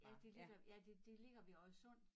Ja det ligger ja det det ligger ved Oddesund